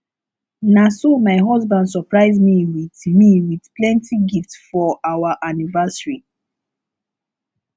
na so my husband surprise me wit me wit plenty gift for our anniversary